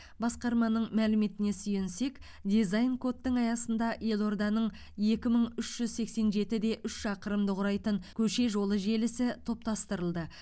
басқарманың мәліметіне сүйенсек дизайн кодтың аясында елорданың екі мың үш жүз сексен жеті де үш шақырымды құрайтын көше жолы желісі топтастырылды